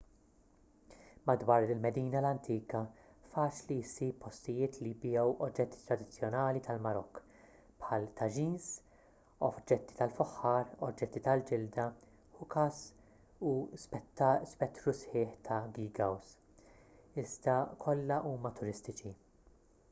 madwar il-medina l-antika faċli ssib postijiet li jbigħu oġġetti tradizzjonali tal-marokk bħal tagines oġġetti tal-fuħħar oġġetti tal-ġilda hookahs u spettru sħiħ ta' geegaws iżda kollha huma turistiċi